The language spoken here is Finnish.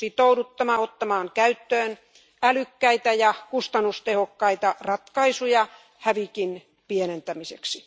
On sitouduttava ottamaan käyttöön älykkäitä ja kustannustehokkaita ratkaisuja hävikin pienentämiseksi.